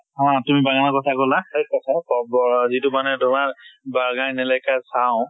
অ তুমি বাগানৰ কথা কলা right কথা কক ব যিটো মানে তোমাৰ বাগান electra চাওঁ